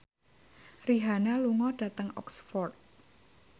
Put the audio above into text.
Rihanna lunga dhateng Oxford